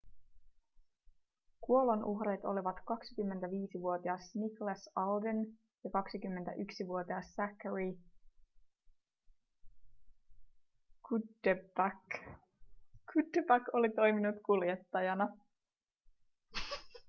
kuolonuhrit olivat 25-vuotias nicholas alden ja 21-vuotias zachary cuddeback cuddeback oli toiminut kuljettajana